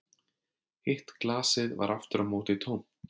Hitt glasið var aftur á móti tómt